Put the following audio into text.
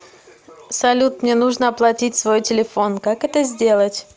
салют мне нужно оплатить свой телефон как это сделать